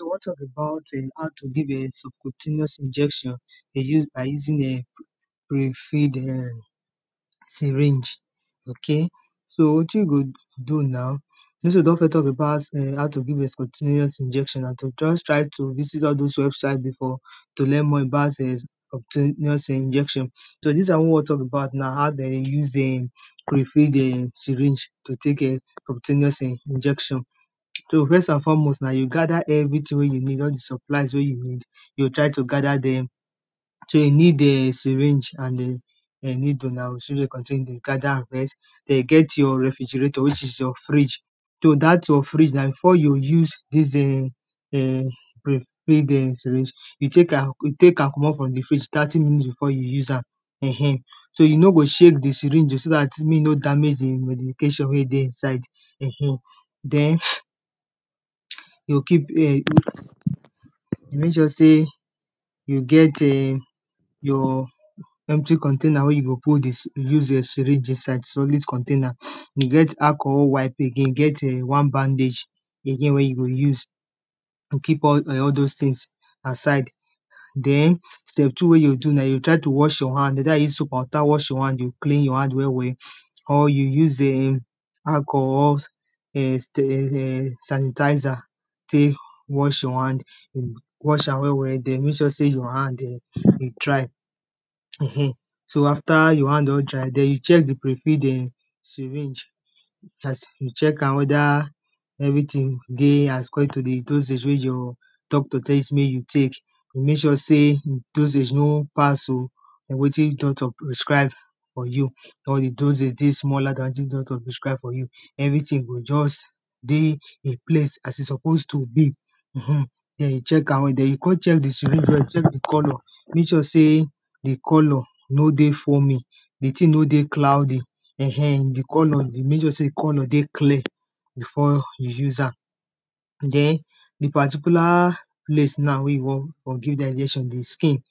we wan tok about um how to give um subcutaneous injection dey use, by using um pre filled um syringe ok so wetin you go do now tings wey we don first tok about, um how to give um subcutaneous injection, na to just try to visit all dose website before to learn more about um subcutaneous injection so dis one wey we wan tok about na how dem dey use um pre filled um syringe to take um subcutaneous injection so first and foremost na yo gather everyting wey you need, all the supplies wey you need yo try to gather dem so you need um syringe and um needle now, so dey contain dey gather am first den you get your refrigerator, which is your fridge so dat your fridge na, before yo use dis [um]tey get your syringe you take am you take am comot for the fridge thirty minutes before you use am um so, you no go shake the syringe o, so dat mek he no damage the medication wey dey inside eh um den yo keep you mek sure sey you get um your empty container wey you go put the use your syringe inside, solid container he get alcohol wipe again, he get um one bandage he get wey you go use to keep all um all dose tings aside den step two, wey yo do na yo try to wash your hand either you use soap and water wash your hand yo clean your hand well well or you use um alcohol um sanitizer tey wash your hand hmm wash am well well den mek sure sey your hand um he dry um so after your hand don dry den you check the prefilled um syringe as you check am wether everyting dey according to the dosage wey your doctor tell you sey mek you take you mek sure sey dosage no pass o or wetin doctor prescribe for you or the dosage dey smaller than wetin doctor prescribe for you everyting go just dey in place as he suppose to be hm hmm den you check am well den, yo con check the syringe well, check the colour mek sure sey the colour no dey foaming the ting no dey cloudy um the colour, yo mek sure sey the colour dey clean before you use am den the particular place na wey you wan for give dem the injection, the skin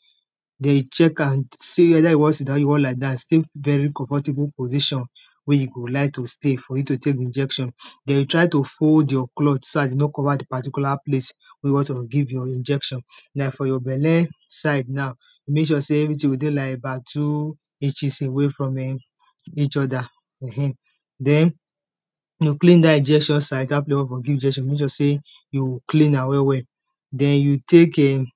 dey check am say wether you wan sit dowm or you wan lie down stay very comfortable position wey you go like to stay for you to take the injection den yo try to fold your cloth, so dat he no go cover the particular place wey you wan to give your injection na for your belle side na mek sure sey everyting go dey like about two inches away from um eachother um den yo clean dat injection side dat place wey dem for give you injection mek sure sey you clean am well well den you take um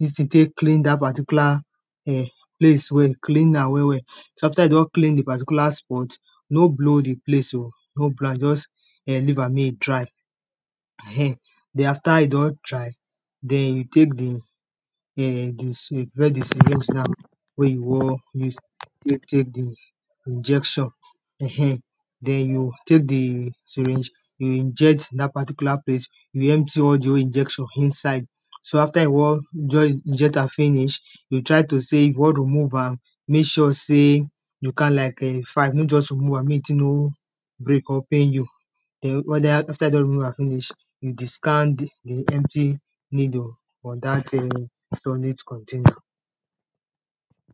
dis ting tey clean dat particular eh place well, clean am well well so after you don clean the particular spot no blow the place o no blow am just um leave am mek he dry [um]den after he don dry den you take the um the si medicine wey you see am wey you wan use tey take the injection um den yo take the syringe inject dat particular place you empty all the whole injection inside so after he wan join inject am finish yo try to sey you wan remove am mek sure sey you count like um five, no just remove am mek the ting no break uping you den wether after he don remove am finish you discard the empty needle for dat im solid container